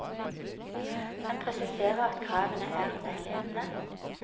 Han presiserer at kravene er veiledende.